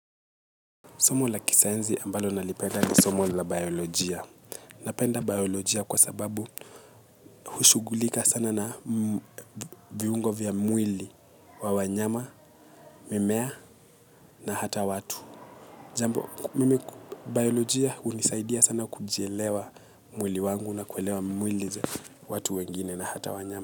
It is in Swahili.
Somo la kisayansi ambalo nalipenda ni somo la biolojia. Napenda biolojia kwa sababu hushughulika sana na viungo vya mwili wa wanyama, mimea na hata watu. Jambo, mimi, biolojia hunisaidia sana kujielewa mwili wangu na kuelewa mwili za watu wengine na hata wanyama.